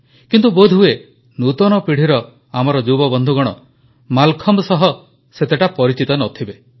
କିନ୍ତୁ ବୋଧହୁଏ ନୂତନ ପିଢ଼ିର ଆମର ଯୁବବନ୍ଧୁଗଣ ମାଲଖମ୍ବ ସହ ସେତେଟା ପରିଚିତ ନ ଥିବେ